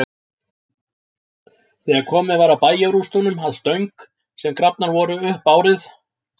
Þegar komið var að bæjarrústunum að Stöng, sem grafnar voru upp árið